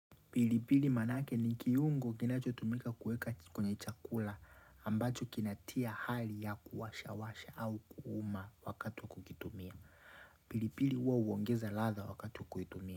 Pilipili manake ni kiungo kinacho tumika kuweka kwenye chakula ambacho kinatia hali ya kuwasha-washa au kuuma wakati wa kukitumia. Pilipili huwa huongeza ladha wakati wa kuitumia.